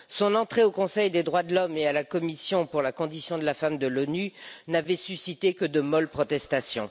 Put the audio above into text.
Son entrée au Conseil des droits de l'homme et à la Commission de la condition de la femme de l'ONU n'avait suscité que de molles protestations.